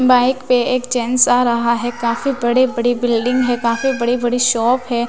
Bike पे एक chance आ रहा है काफी बड़े बड़ी बिल्डिंग हैं काफी बड़ी बड़ी शॉप है।